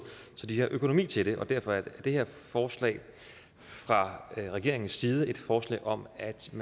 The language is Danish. så de har økonomi til det og derfor er det her forslag fra regeringens side et forslag om at de